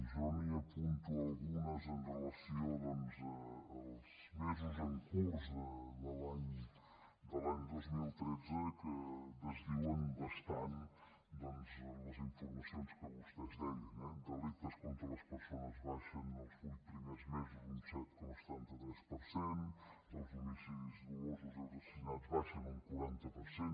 jo li n’apunto algunes amb relació doncs als mesos en curs de l’any dos mil tretze que desdiuen bastant les informacions que vostès deien eh delictes contra les persones baixen els vuit primers mesos un set coma setanta tres per cent els homicidis dolosos i els assassinats baixen un quaranta per cent